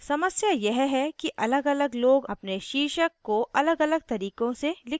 समस्या यह है कि अलगअलग लोग अपने शीर्षक को अलगअलग तरीकों से लिखते हैं